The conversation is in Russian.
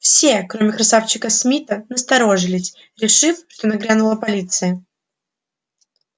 все кроме красавчика смита насторожились решив что нагрянула полиция